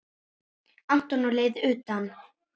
Anton á leið utan?